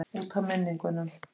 Út af minningunum.